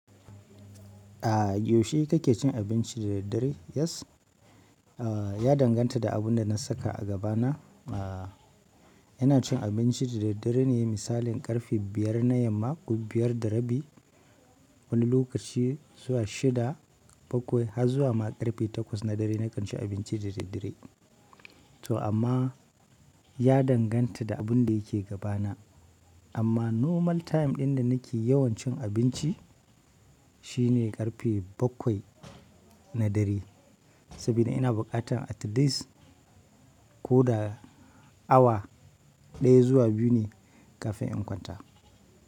A yaushe kake cin abinci da daddare? Yes, ya danganta da abin da na saka a gabana ina cin abinci da daddare ne, misalin ƙarfe biyar na yamma, ko biyar da rabi, wani lokaci zuwa shida, bakwai, har zuwa ma ƙarfe takwas na dare na kan ci abinci da daddare. To amman, ya danganta da abun da yake gabana. Amma normal time ɗin da nake yawan cin abinci, shi ne ƙarfe bakwai na dare. Sabida ina buƙatan at least, ko da awa ɗaya zuwa biyu ne kafin in kwanta.